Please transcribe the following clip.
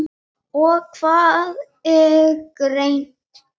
og Hvað er greind?